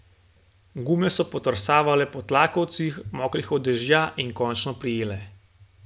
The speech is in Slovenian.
Gume so podrsavale po tlakovcih, mokrih od dežja, in končno prijele.